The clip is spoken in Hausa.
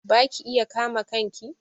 Ba ki iya kama kanki?